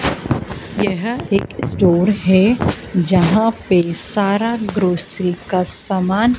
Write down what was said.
यह एक स्टोर है यहां पे सारा ग्रोसरी का सामान--